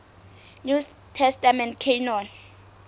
new testament canon